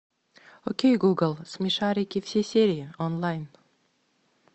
окей гугл смешарики все серии онлайн